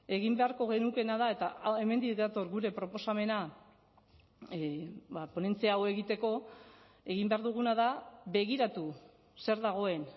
egin beharko genukeena da eta hemendik dator gure proposamena ponentzia hau egiteko egin behar duguna da begiratu zer dagoen